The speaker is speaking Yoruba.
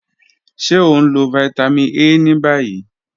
Ṣe o nlo Vitamin A ni bayi?